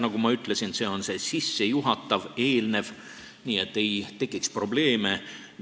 Nagu ma ütlesin, see on see sissejuhatav, eelnev töö, et ei tekiks probleeme.